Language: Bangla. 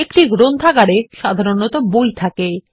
একটি গ্রন্থাগারে সাধারণত বই থাকে